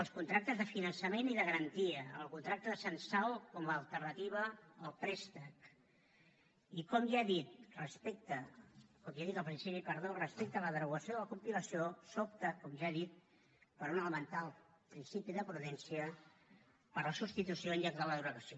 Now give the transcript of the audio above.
els contractes de finançament i de garantia el contracte de censal com a alternativa al préstec i com ja he dit al principi respecte a la derogació de la compilació sobta com ja he dit per un elemental principi de prudència per la substitució en lloc de la derogació